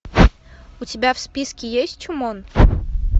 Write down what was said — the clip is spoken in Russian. у тебя в списке есть чумон